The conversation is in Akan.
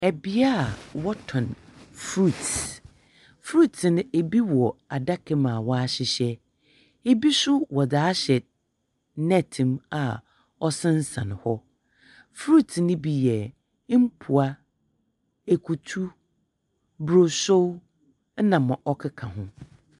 Ɛbea a wɔtɔn frut frut no ebi wɔ adaka mu a wahyehyɛ ebi so wɔde ahyɛ nɛɛt mu a ɔde asensɛn hɔ frut no bi yɛ mpoa ekutu broso ɛna nea ɛkeka ho.